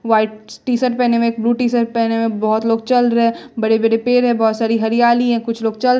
white T shirt पहने हुए एक ब्लू टी शर्ट पहने हुए बहोत लोग चल रहे बड़े बड़े पेड़ है बहोत सारी हरियाली है कुछ लोग चल--